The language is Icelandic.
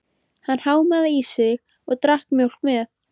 Hann hámaði það í sig og drakk mjólk með.